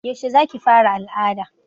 Yaushe za ki fara al'ada